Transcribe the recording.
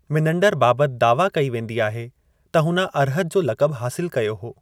मिनंडर बाबतु दावा कई वेंदी आहे त हुन अर्हत जो लक़ब हासिल कयो हो।